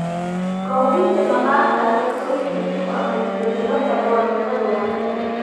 Ka hubinta maqaarkaaga korriin cusub ama isbeddello kale waa fikrad wanaagsan.